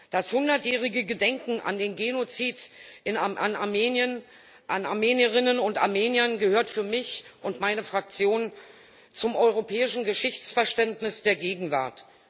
Das hundertjährige Gedenken an den Genozid an Armenierinnen und Armeniern gehört für mich und meine Fraktion zum europäischen Geschichtsverständnis der Gegenwart.